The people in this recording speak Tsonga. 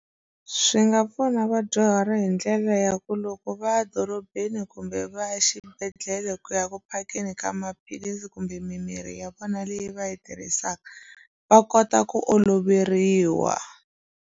Swi nga pfuna vadyuhari hi ndlela ya ku loko va ya dorobeni kumbe va ya xibedhlele ku ya ku phakeni ka maphilisi kumbe mimirhi ya vona leyi va yi tirhisaka va kota ku oloveriwa.